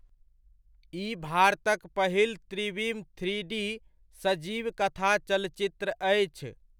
ई भारतक पहिल त्रिविम थ्रीडी सजीव कथा चलचित्र अछि।